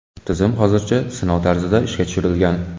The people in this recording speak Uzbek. Tizim hozircha sinov tarzida ishga tushirilgan.